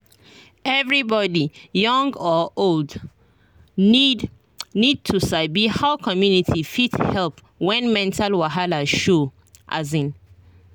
everybody young or old need need to sabi how community fit help when mental wahala show. um